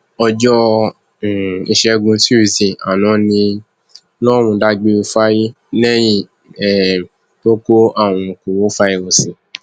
ọjọ um ìṣègùn túṣìdée àná ní lọrun dágbére fáyé lẹyìn um tó kó àrùn korofairósí